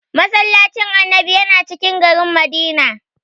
"Massallacin Annabi" yana cikin garin Madina.